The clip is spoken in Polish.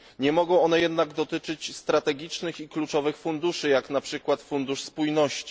Nie mogą one jednak dotyczyć strategicznych i kluczowych funduszy, jak na przykład Fundusz Spójności.